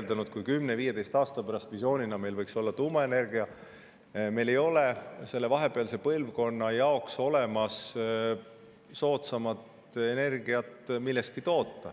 hetkel oleme: visiooni kohaselt võiks meil 10–15 aasta pärast olla tuumaenergia, aga selle vahepealse põlvkonna jaoks ei ole meil soodsamat energiat millestki toota.